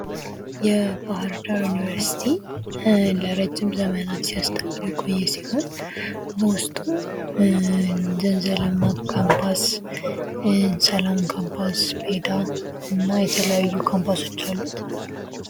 የ ባህር ዳር ዮኒቪርሲቲ ለ ረጅም ዘመናት ስያስተምር የቆየ ሲሆን በውስጡም ዘንዘልማ ካምፓስ ፣ ሰላም ካምፖስ ፣ፔዳ ሳምፓስ እና የተለያዩ ካምፓሶች አሉት።